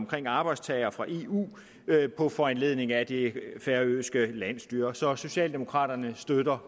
arbejdstagere fra eu på foranledning af det færøske landsstyre så socialdemokraterne støtter